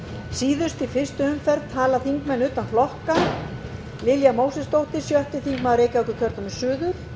síðust í fyrstu umferð tala þingmenn utan flokka lilja mósesdóttir sjötti þingmaður reykjavíkurkjördæmis suður